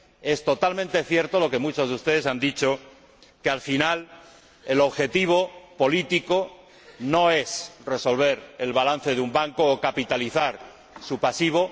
es totalmente cierto lo que muchos de ustedes han dicho que, al final, el objetivo político no es resolver el balance de un banco o capitalizar su pasivo